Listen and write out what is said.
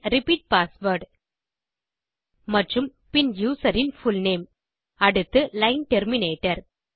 பின் repeat password மற்றும் பின் user இன் புல்நேம் அடுத்து லைன் டெர்மினேட்டர்